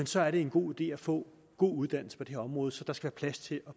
så er det en god idé at få god uddannelse på det her område så der skal være plads til at